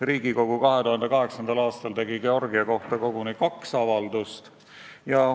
Riigikogu tegi 2008. aastal Georgia kohta koguni kaks avaldust.